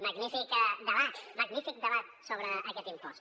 magnífic debat magnífic debat sobre aquest impost